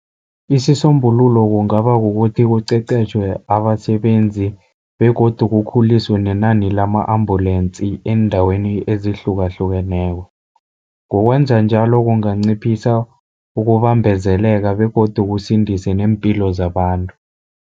Isisombululo kungaba kukuthi kuqeqetjhwe abasebenzi begodu kukhuliswe nenani lama-ambulensi eendaweni ezihlukahlukeneko. Ngokwenza njalo kunganciphisa ukubambezeleka begodu kusindise neempilo zabantu.